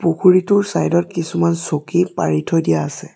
পুখুৰীটোৰ চাইড ত কিছুমান চকী পাৰি থৈ দিয়া আছে।